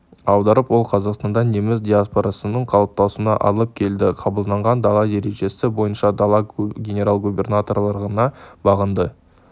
аударып ол қазақстанда неміс диаспорасының қалыптасуына алып келді қабылданған дала ережесі бойынша дала генерал-губернаторлығына бағынды